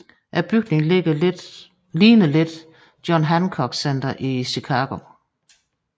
Bygningen ligner lidt John Hancock Center i Chicago